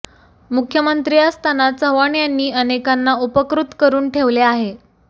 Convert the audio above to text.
मुख्यमंत्री असताना चव्हाण यांनी अनेकांना उपकृत करून ठेवले आहे